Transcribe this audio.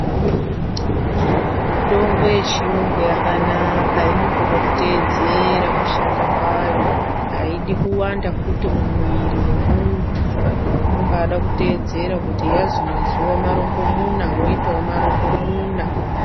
Mutombo yechiyungu yakanaka inongoda kuteedzera kushanda kwayo. Haidi kuwanda fut mumwiri mwemuntu Inombada kuteedzera kuti yazi mazuwa marongo muna woitawo marongo muna.